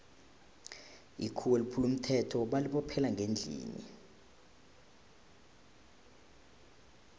ikhuwa eliphule umthetho lali botjhelwa ngendlini